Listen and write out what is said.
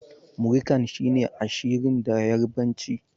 Muri kan' shine Ashirin da yarbanci.